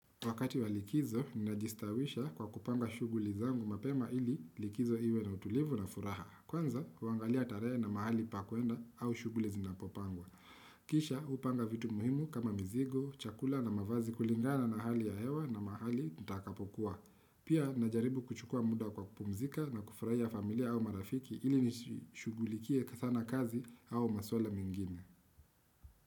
Wakati wa likizo, ninajistawisha kwa kupanga shughuli zangu mapema ili likizo iwe na utulivu na furaha. Kwanza, kuangalia tarehe na mahali pa kuenda au shughuli zinapopangwa. Kisha, hupanga vitu muhimu kama mizigo, chakula na mavazi kulingana na hali ya hewa na mahali nitakapokuwa. Pia, ninajaribu kuchukua muda kwa kupumzika na kufurahia familia au marafiki ili nisishughulikie sana kazi au maswala mengine.